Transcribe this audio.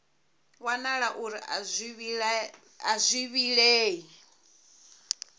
wanala uri a zwi vhilei